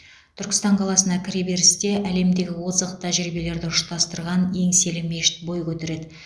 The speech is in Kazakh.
түркістан қаласына кіреберісте әлемдегі озық тәжірибелерді ұштастырған еңселі мешіт бой көтереді